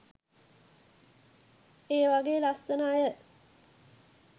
මේ වගේ ලස්සන අය.